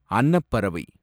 அன்னப்பறவை